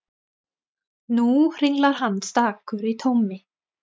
Nú hringlar hann stakur í tómi.